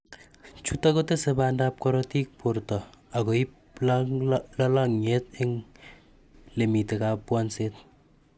Chutok kotese bandab korotik borto akoib lalang'iet eng lemite kabwanseet